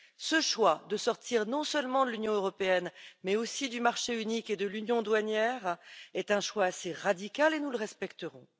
Ce choix de sortir non seulement de l'Union européenne, mais aussi du marché unique et de l'union douanière, est un choix assez radical, mais nous le respecterons.